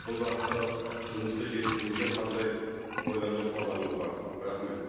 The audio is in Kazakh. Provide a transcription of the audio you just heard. бұл бағыттағы жұмысты жетілдіруде қандай ойлар жоспарларыңыз бар рахмет